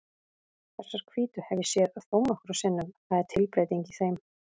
Þessar hvítu hef ég séð þónokkrum sinnum, það er tilbreyting í þeim.